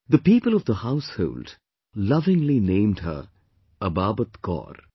The people of the household lovingly named her Ababat Kaur